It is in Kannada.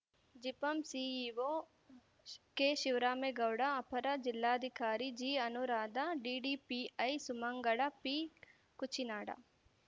ಜಿಪಂ ಸಿಇಒ ಕೆಶಿವರಾಮೇಗೌಡ ಅಪರ ಜಿಲ್ಲಾಧಿಕಾರಿ ಜಿಅನುರಾಧಾ ಡಿಡಿಪಿಐ ಸುಮಂಗಳಾ ಪಿಕುಚಿನಾಡ